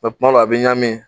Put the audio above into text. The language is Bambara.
kuma dɔw a bi ɲami